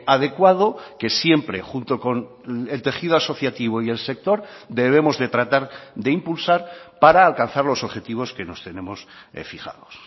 adecuado que siempre junto con el tejido asociativo y el sector debemos de tratar de impulsar para alcanzar los objetivos que nos tenemos fijados